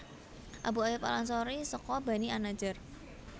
Abu Ayyub al Ansari seka Bani an Najjar